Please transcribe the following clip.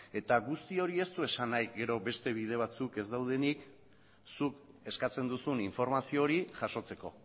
eta guzti hori ez du esan nahi gero beste bide batzuk ez daudenik zuk eskatzen duzun informazio hori jasotzeko